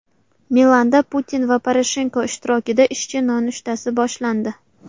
Milanda Putin va Poroshenko ishtirokida ishchi nonushtasi boshlandi.